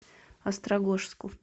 острогожску